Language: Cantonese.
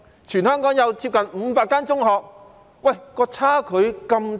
全香港有接近500間中學，但數據差距竟然那麼大。